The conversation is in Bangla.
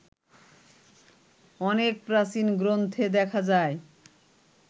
অনেক প্রাচীন গ্রন্থে দেখা যায়